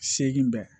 Seegin dɔn